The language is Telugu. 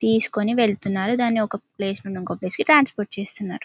తీస్కొని వెళ్తున్నారు దాని ఒక ప్లేస్ నుంచి ఇంకో ప్లేస్ కి ట్రాన్స్పోర్ట్ చేస్తున్నరు.